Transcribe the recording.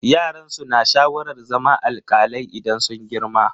Yaran su na sha'awar zama alkalai idan sun girma.